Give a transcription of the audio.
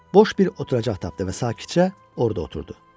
Boş bir oturacaq tapdı və sakitcə orda oturdu.